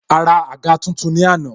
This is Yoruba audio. A ra àga tuntun ni àná